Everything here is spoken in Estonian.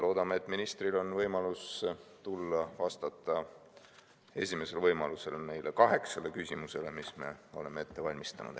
Loodame, et ministril on võimalus tulla esimesel võimalusel vastama neile kaheksale küsimusele, mis me oleme ette valmistanud.